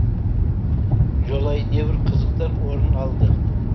жолай небір қызықтар орын алды